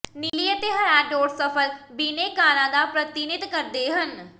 ਨੀਲੀ ਅਤੇ ਹਰਾ ਡੌਟਸ ਸਫਲ ਬਿਨੈਕਾਰਾਂ ਦਾ ਪ੍ਰਤੀਨਿਧ ਕਰਦੇ ਹਨ